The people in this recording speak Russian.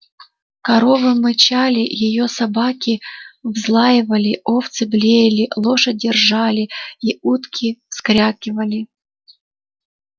коровы мычали её собаки взлаивали овцы блеяли лошади ржали и утки вскрякивали